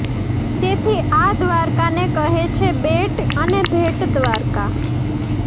તેથી આ દ્વારકાને કહે છે બેટ અને ભેટ દ્વારકા